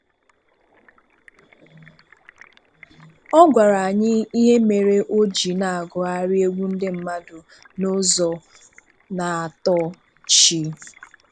Ọ gwara anyị ihe mere o ji na-agugharị egwu ndị mmadụ n'ụzọ na-atọ chi.